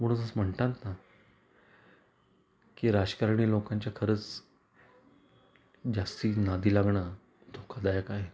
म्हणूनच म्हणतात ना की राजकारणी लोकांच्या खरंच जास्ती नादी लागण धोका दायक आहे.